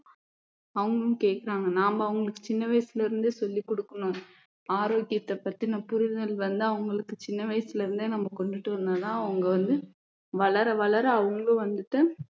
அவங்களும் கேக்குறாங்க நாம அவங்களுக்கு சின்ன வயசுல இருந்தே சொல்லிக் கொடுக்கணும் ஆரோக்கியத்தை பத்தின புரிதல் வந்து அவங்களுக்கு சின்ன வயசுல இருந்தே நம்ம கொண்டுட்டு வந்தா தான் அவங்க வந்து வளர வளர அவங்களும் வந்துட்டு